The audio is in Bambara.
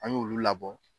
An y'olu labɔ